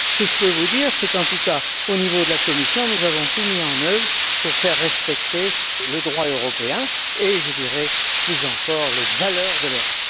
Ce que je peux vous dire c'est qu'en tout cas, au niveau de la Commission, nous avons tout mis en œuvre pour faire respecter le droit européen et, je dirais plus encore, les valeurs de l'Europe.